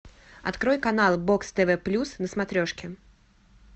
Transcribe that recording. открой канал бокс тв плюс на смотрешке